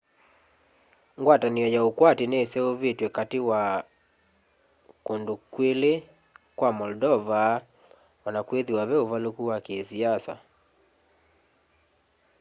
ngwatanĩo ya ũkwati nĩseũvĩtwe katĩ wa kũndũ kwĩlĩ kwa moldova ona kwĩthĩwa ve ũvalũku wa kĩsiasa